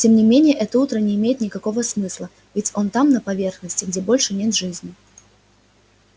тем не менее это утро не имеет никакого смысла ведь он там на поверхности где больше нет жизни